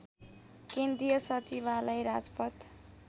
केन्द्रीय सचिवालय राजपथ